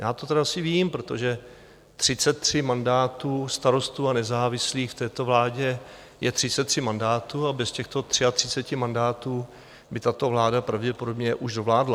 Já to tedy asi vím, protože 33 mandátů Starostů a nezávislých v této vládě je 33 mandátů a bez těchto 33 mandátů by tato vláda pravděpodobně už dovládla.